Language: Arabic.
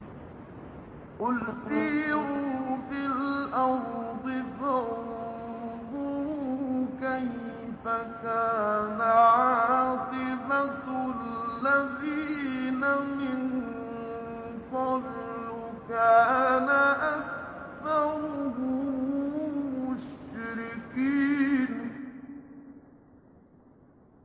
قُلْ سِيرُوا فِي الْأَرْضِ فَانظُرُوا كَيْفَ كَانَ عَاقِبَةُ الَّذِينَ مِن قَبْلُ ۚ كَانَ أَكْثَرُهُم مُّشْرِكِينَ